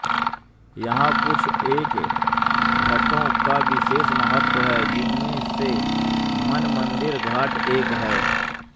यहाँ कुछ एक घाटों का विशेष महत्व है जिनमें से मानमंदिर घाट एक है